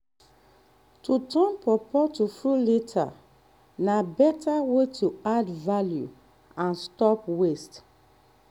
to turn pawpaw to fruit leather na better way to add value and stop waste.